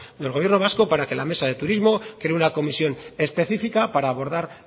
del gobierno vasco para que la mesa del turismo cree una comisión específica para abordar